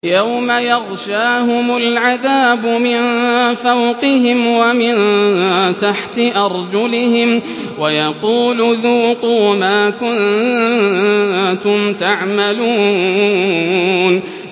يَوْمَ يَغْشَاهُمُ الْعَذَابُ مِن فَوْقِهِمْ وَمِن تَحْتِ أَرْجُلِهِمْ وَيَقُولُ ذُوقُوا مَا كُنتُمْ تَعْمَلُونَ